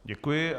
Děkuji.